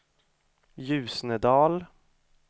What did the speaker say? Ljusnedal